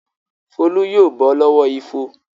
Folú yóò bọ́ lọ́wọ́ ifo.